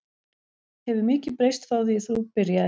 Hefur mikið breyst frá því þú byrjaðir?